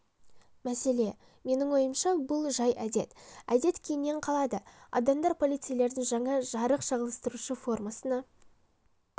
мәселе менің ойымша бұл жай әдет әдет кейіннен қалады адамдар полицейлердің жаңа жарық шағылыстырушы формасына